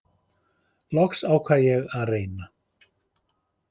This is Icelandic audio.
Loks ákvað ég að reyna.